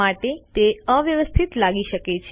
માટે તે અવ્યવસ્થિત લાગી શકે છે